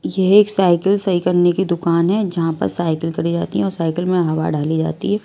ये एक साइकिल सही करने की दुकान है जहां पर साइकिल करी जाती है और साइकिल में हवा डाली जाती है।